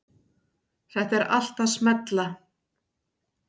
Þetta er allt að smella.